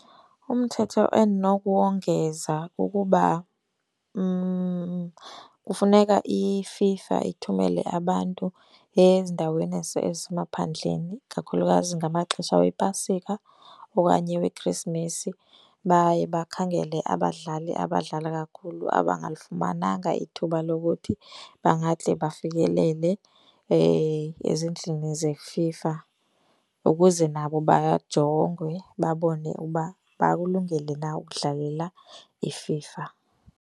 Umthetho endinokuwongeza kukuba kufuneka iFIFA ithumele abantu ezindaweni ezisemaphandleni kakhulukazi ngamaxesha wePasika okanye weKhrisimesi. Baye bakhangele abadlali abadlala kakhulu abangalifumananga ithuba lokuthi bangade bafikelele ezindlini zeFIFA ukuze nabo bajongwe babone ukuba bakulungele na ukudlalela iFIFA.